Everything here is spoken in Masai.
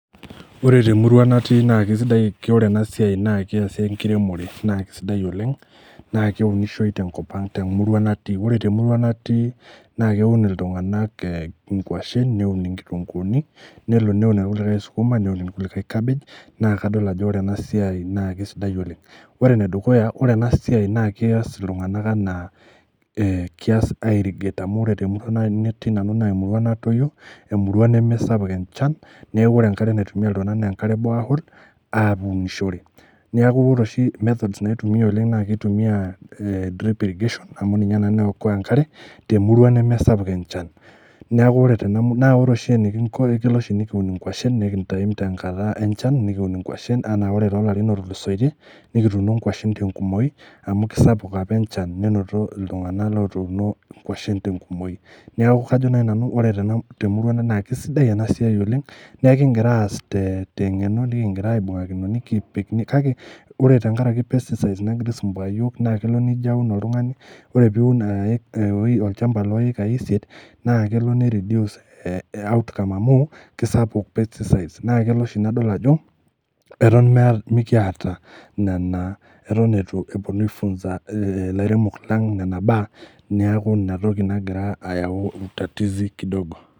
Ore temurua natii naa kesidai , ore ena siai naa keasi enkiremore naa kisidai oleng naa keunishoi tenkop ang temurua natii ,ore temurua natii naa keun iltunganak ee inkwashen , neun inkitunguni , nelo neun irkulikae isukuma , neun irkulikae cabbage naa kadol ajo ore ena siai naa kisidai oleng . Ore enedukuya ore ena siai naa keas iltunganak anaa e kias airrigate amu ore temurua natii nanu naa emurua natoyio, emurua nemesapuk enchan , neeku ore enkare naitumia iltunganak naa enkare eborehole aunishore, niaku ore oshi methods naitumia oleng naa kitumia a drip irrigation amu ninye naikoa enkare temurua nemesapuk enchan ,niaku ore tena , niaku ore oshi enikinko tenikiun inkwashen naa kelo oshi nikintime tenkata enchan nikiun inkwashen anaa ore tolarin otulusoitie nikituuno nkwashen tenkumoi amu kisapuk apa enchan nenotito iltunganak lotuuno inkwashen tenkumoi. Niaku kajo nai nanu ore temurua ang naa kisidai ena siai oleng naa ekigira aas tengeno , nikingira aibungakino, nikipik kake ore tenkaraki pesticides nagira aisumbua iyiok naa kelo nijo aun oltungani , ore piun olchamba loikai isiet naa kelo nireduce ee outcome amu naa kisapuk pesticies naa kelo oshi nadol ajo eton meeta , mikiata nena , keton itu eponu aifunza ilairemok lang nena baa , niaku inatoki nagira ayau utatizi kidogo.